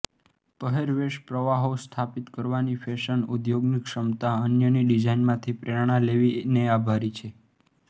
પહેરવેશ પ્રવાહો સ્થાપિત કરવાની ફેશન ઉદ્યોગની ક્ષમતા અન્યની ડિઝાઇનમાંથી પ્રેરણા લેવી ને આભારી છે